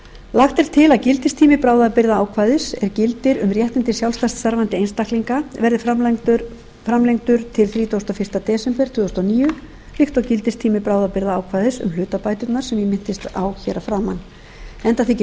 lagt er til að gildistími bráðabirgðaákvæðis er gildir um réttindi sjálfstætt starfandi einstaklinga verði framlengdur til þrítugasta og fyrsta desember tvö þúsund og níu líkt og gildistími bráðabirgðaákvæði um hlutabæturnar sem ég minntist afar að framan enda þykir